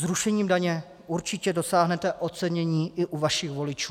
Zrušením daně určitě dosáhnete ocenění i u vašich voličů.